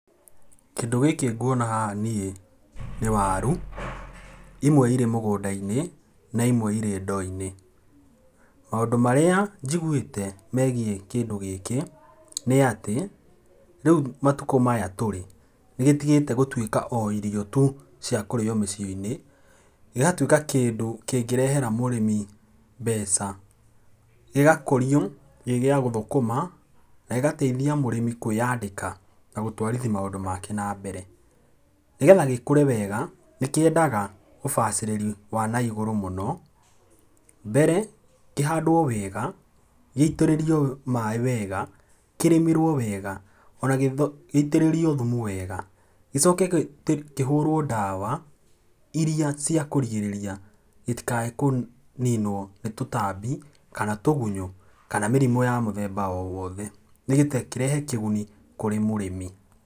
Kĩndũ gĩkĩ nguona haha niĩ nĩ waru, imwe irĩ mũgũnda-inĩ na imwe irĩ ndoo-inĩ. Maũndũ marĩa njiguĩte megiĩ kĩndũ gĩkĩ nĩ atĩ, rĩa matukũ marĩa tũrĩ nĩ gĩtigĩte gũtuĩka o irio tu cia kũrĩo mũciĩ-inĩ, gĩgatuĩka kĩndũ kĩngĩrehera mũrĩmi mbeca. Gĩgakũrio gĩ gĩa gũthũkũma na gĩgateithia mũrĩmi kwĩandĩka na gũtwarithia maũndũ make nambere. Nĩgetha gĩkũre wega nĩ kĩendaga ũbacĩrĩri wa na igũrũ mũno, mbere kĩhandwo wega, gĩitĩrĩrio maaĩ wega, kĩrĩmĩrwo wega ona gĩitĩrĩrio thumu wega. Gĩcoke kĩhũrwo ndawa irĩa ciakũgirĩrĩria gĩtikae kũninwo nĩ tũgunyũ kana mĩrimũ ya mũthemba o wothe, nĩgetha kĩrehe kĩguni kũrĩ mũrĩmi.